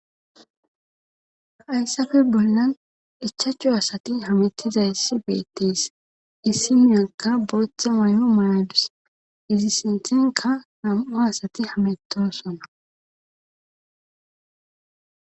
Haayssafe bollan ichachu asati hametiza issi beettees issi miyakka booththa may7o mayadus izi senthenka nam7o asati hamettosona.